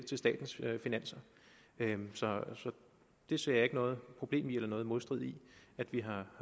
til statens finanser så jeg ser ikke noget problem i eller noget modstridende i at vi har